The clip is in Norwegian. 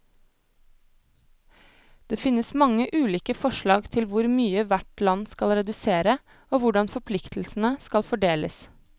Det finnes mange ulike forslag til hvor mye hvert land skal redusere, og hvordan forpliktelsene skal fordeles.